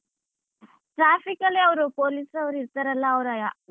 Traffic ಅಲ್ಲಿ ಅವ್ರು police ಅವ್ರ್ ಇರ್ತಾರಲ್ಲ ಅವ್ರೇಯ ?